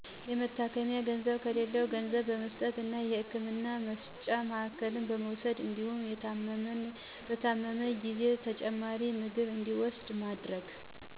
የመታከሚያ ገንዘብ ከሌላው ገንዘብ በመስጠት እና የህክምና መስጫ ማዕከል በመውሰድ እንዲሁም የታመመ ጊዜ ተጨማሪ ምግብ እንዲውስድ በማድረግ